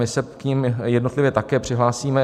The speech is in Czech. My se k nim jednotlivě také přihlásíme.